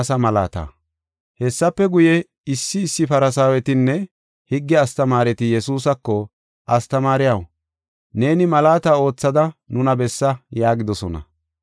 Hessafe guye, issi issi Farsaawetinne higge astamaareti Yesuusako, “Astamaariyaw, neeni malaata oothada nuna bessa” yaagidosona.